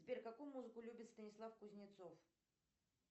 сбер какую музыку любит станислав кузнецов